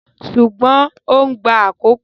Ṣùgbọ́n ó ń gba àkókò.